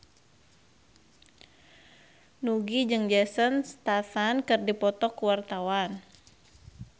Nugie jeung Jason Statham keur dipoto ku wartawan